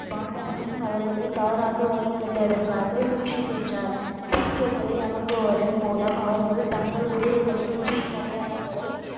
பாண்டா சிங் அவர்களை தவறாக வழி நடத்துவதற்காக சுற்றி சென்றார் சீக்கியர்களை அனுப்புவதன் மூலம் அவர்கள் தங்கள் குதிரைகளின் உச்சியின் அடையாளங்களை